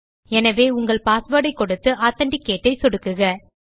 எனவே உங்கள் பாஸ்வேர்ட் ஐ கொடுத்து Authenticateஐ சொடுக்குக